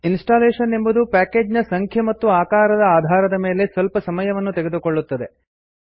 installation ಎಂಬುದು package ನ ಸಂಖ್ಯೆ ಮತ್ತು ಆಕಾರದ ಆಧಾರದ ಮೇಲೆ ಸ್ವಲ್ಪ ಸಮಯವನ್ನು ತೆಗೆದುಕೊಳ್ಳುತ್ತದೆ